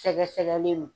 Sɛgɛsɛgɛli no